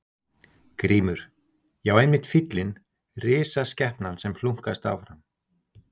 GRÍMUR: Já, einmitt fíllinn, risaskepnan sem hlunkast áfram.